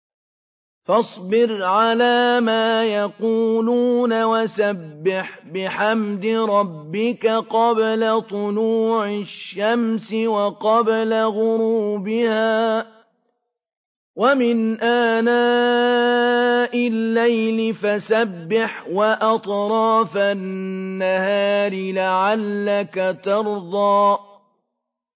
فَاصْبِرْ عَلَىٰ مَا يَقُولُونَ وَسَبِّحْ بِحَمْدِ رَبِّكَ قَبْلَ طُلُوعِ الشَّمْسِ وَقَبْلَ غُرُوبِهَا ۖ وَمِنْ آنَاءِ اللَّيْلِ فَسَبِّحْ وَأَطْرَافَ النَّهَارِ لَعَلَّكَ تَرْضَىٰ